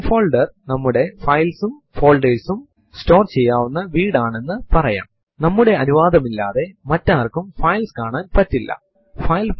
ഉദാഹരണത്തിനു ls space minus small l space right angle bracket space fileinfo എന്ന് എഴുതി enter അമർത്തുക